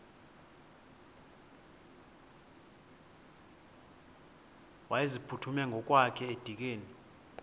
wayeziphuthume ngokwakhe edikeni